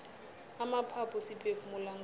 amaphaphu siphefumula ngawo